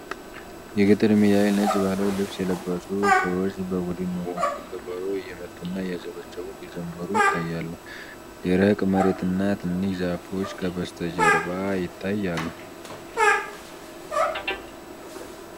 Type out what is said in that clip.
የገጠር ሜዳ ላይ ነጭ ባህላዊ ልብስ የለበሱ ሰዎች በቡድን ሆነው ከበሮ እየመቱና እያጨበጨቡ ሲዘምሩ ይታያሉ። ደረቅ መሬትና ትንሽ ዛፎች ከበስተጀርባ ይታያሉ።